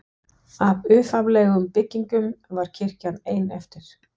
Af upphaflegum byggingum var kirkjan ein eftir.